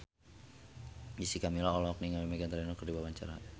Jessica Milla olohok ningali Meghan Trainor keur diwawancara